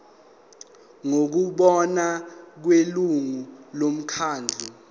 ngokubona kwelungu lomkhandlu